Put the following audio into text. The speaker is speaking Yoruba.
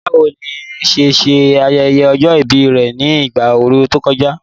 Báwo ni Nia ṣe ṣe ayẹyẹ ọjọ́ ìbí rẹ̀ ní ìgbà ooru tó kọjá?